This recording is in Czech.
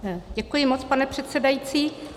Děkuji moc, pane předsedající.